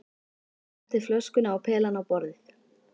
Ég setti flöskuna og pelann á borðið.